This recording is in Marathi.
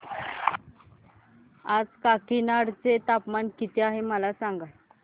आज काकीनाडा चे तापमान किती आहे मला सांगा